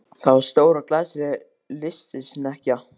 Það var stór og glæsileg lystisnekkja.